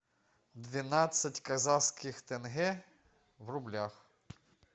двенадцать казахских тенге в рублях